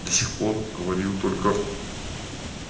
до сих пор он говорил только